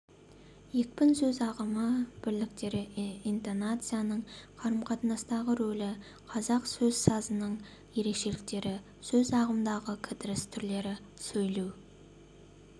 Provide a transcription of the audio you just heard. екпін сөз ағымы бірліктері интонацияның қарымқатынастағы рөлі қазақ сөз сазының ерекшеліктері сөз ағымындағы кідіріс түрлері сөйлеу